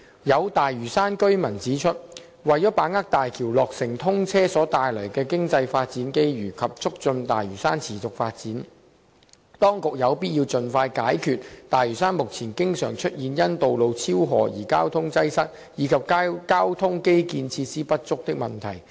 有大嶼山居民指出，為把握大橋落成通車所帶來的經濟發展機遇及促進大嶼山持續發展，當局有必要盡快解決大嶼山目前經常出現因道路超荷而交通擠塞，以及交通基建設施不足的問題。